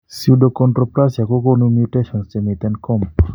Pseudoachondroplasia ko gonu mutations chemiten COMP